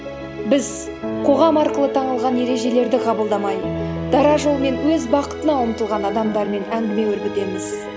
біз қоғам арқылы таңылған ережелерді қабылдамай дара жолмен өз бақытына ұмтылған адамдармен әңгіме өрбітеміз